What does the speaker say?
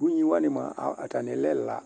Ʊɣŋɩ wani atani lɛ ɛla